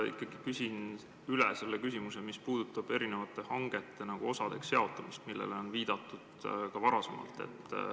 Ma ikkagi küsin üle selle, mis puudutab erinevate hangete osadeks jaotamist, millele on viidatud ka varasemalt.